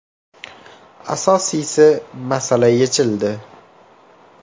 Asosiysi, masala yechildi.